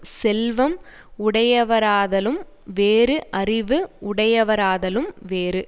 செல்வம் உடையவராதலும் வேறு அறிவு உடையவராதலும் வேறு